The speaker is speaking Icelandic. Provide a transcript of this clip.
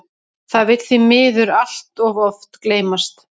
Það vill því miður allt of oft gleymast.